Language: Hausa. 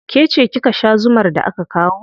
Ke ce kika sha zumar da aka kawo.